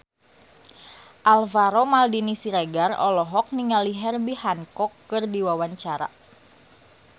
Alvaro Maldini Siregar olohok ningali Herbie Hancock keur diwawancara